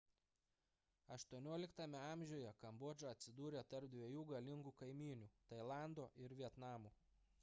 xviii a kambodža atsidūrė tarp dviejų galingų kaimynių – tailando ir vietnamo